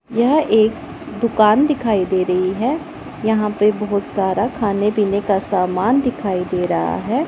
यह एक दुकान दिखाई दे रही है यहां पे बहुत सारा खाने पीने का सामान दिखाई दे रहा है।